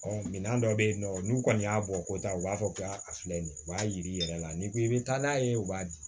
minɛn dɔ bɛ yen nɔ n'u kɔni y'a bɔ ko taa u b'a fɔ k'a filɛ nin ye u b'a yir'i yɛrɛ la n'i ko i bɛ taa n'a ye u b'a di